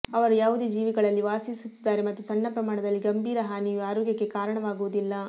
ಅವರು ಯಾವುದೇ ಜೀವಿಗಳಲ್ಲಿ ವಾಸಿಸುತ್ತಿದ್ದಾರೆ ಮತ್ತು ಸಣ್ಣ ಪ್ರಮಾಣದಲ್ಲಿ ಗಂಭೀರ ಹಾನಿಯು ಆರೋಗ್ಯಕ್ಕೆ ಕಾರಣವಾಗುವುದಿಲ್ಲ